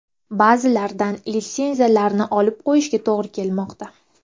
Ba’zilardan litsenziyalarni olib qo‘yishga to‘g‘ri kelmoqda.